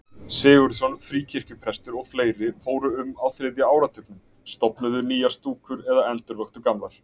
Sigurðsson fríkirkjuprestur og fleiri fóru um á þriðja áratugnum, stofnuðu nýjar stúkur eða endurvöktu gamlar.